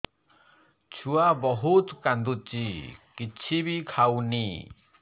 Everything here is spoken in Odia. ଛୁଆ ବହୁତ୍ କାନ୍ଦୁଚି କିଛିବି ଖାଉନି